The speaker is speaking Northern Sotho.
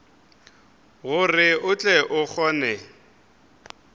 gore o tle o kgone